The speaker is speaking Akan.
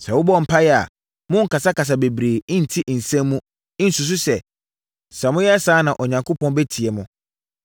Sɛ mobɔ mpaeɛ a, monnkasakasa bebree ntiti nsɛm mu, nsusu sɛ, sɛ moyɛ saa a na Onyankopɔn bɛtie mo.